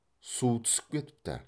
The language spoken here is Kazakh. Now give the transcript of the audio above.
су түсіп кетіпті